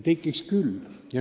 Tekiks küll.